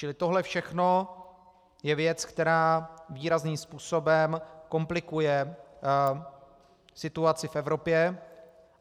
Čili tohle všechno je věc, která výrazným způsobem komplikuje situaci v Evropě.